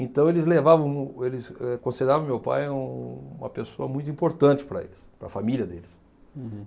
Então, eles levavam mu eles eh consideravam o meu pai um uma pessoa muito importante para eles, para a família deles. Uhum.